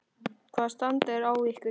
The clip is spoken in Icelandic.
Hvaða stand er á ykkur?